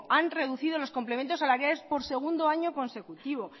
han reducido los complementos salariales por segundo año consecutivo